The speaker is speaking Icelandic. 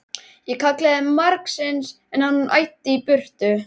Ég kallaði margsinnis, en hann æddi í burtu.